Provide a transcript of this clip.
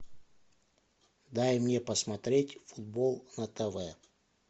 дай мне посмотреть футбол на тв